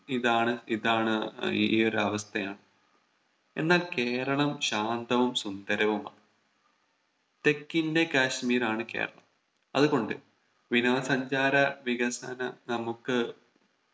ഇതാണ് ഇതാണ് ഏർ ഈ ഒരു അവസ്ഥയാണ് എന്നാൽ കേരളം ശാന്തവും സുന്ദരവുമാണ് തെക്കിന്റെ കാശ്മീരാണ് കേരളം അതുകൊണ്ട് വിനോദ സഞ്ചാര വികസനം നമുക്ക്